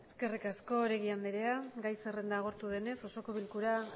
eskerrik asko oregi andrea gai zerrenda agortu denez osoko bilkura